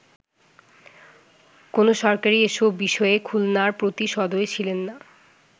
কোন সরকারই এসব বিষয়ে খুলনার প্রতি সদয় ছিলেননা”।